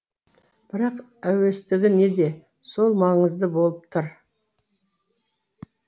бірақ әуестігі неде сол маңызды болып тұр